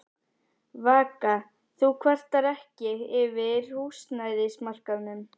Vaka: Þú kvartar ekki yfir húsnæðismarkaðnum?